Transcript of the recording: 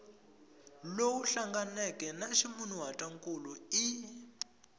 lowu hlanganeke na ximunhuhatwankulu i